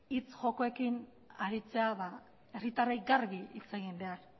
hitz jokoekin aritzea herritarrei garbi hitz egin behar